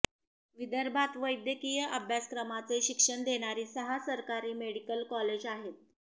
विदर्भात वैद्यकीय अभ्यासक्रमाचे शिक्षण देणारी सहा सरकारी मेडिकल कॉलेज आहेत